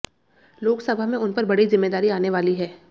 लोकसभा में उन पर बड़ी जिम्मेदारी आने वाली है